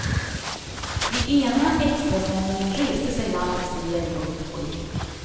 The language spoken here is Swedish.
I ena extrasändningen reste sig landets regering upp och gick.